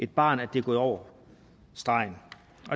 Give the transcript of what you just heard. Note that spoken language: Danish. barnet at det er gået over stregen